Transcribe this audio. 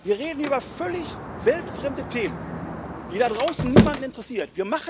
Wir reden über völlig weltfremde Themen, die da draußen niemanden interessieren.